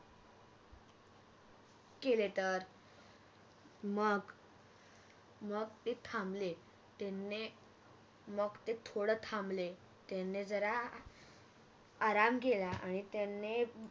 केले तर मग मग ते थांबले त्याने मग ते थोड थांबले त्यांनी जरा अह आराम केला आणि त्यांनी